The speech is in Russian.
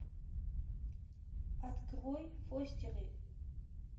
открой фостеры